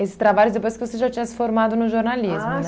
esses trabalhos depois que você já tinha se formado no jornalismo, né? Ah